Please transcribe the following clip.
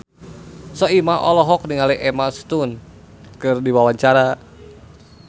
Soimah olohok ningali Emma Stone keur diwawancara